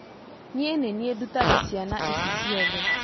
Niĩ nĩ niĩ ndutaga ciana ici ciothe